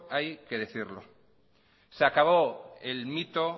hay que decirlo se acabó el mito